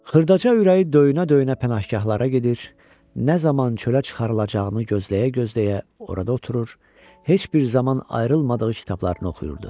Xırdaca ürəyi döyünə-döyünə pənahgahlara gedir, nə zaman çölə çıxarılacağını gözləyə-gözləyə orada oturur, heç bir zaman ayrılmadığı kitablarını oxuyurdu.